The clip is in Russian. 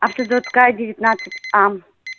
автозаводская девятнадцать а